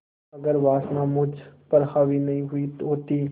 अगर वासना मुझ पर हावी नहीं हुई होती